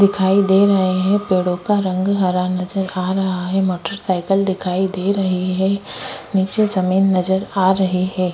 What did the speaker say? दिखाई दे रहै हैं पेड़ों का रंग हरा नज़र आ रहा है मोटरसाइकिल दिखाई दे रही है नीचे जमीन नज़र आ रही है।